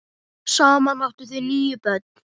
Saman áttu þau níu börn.